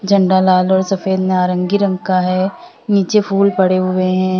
झंडा लाल और सफेद नारंगी रंग का है नीचे फूलों पड़े हुए हैं।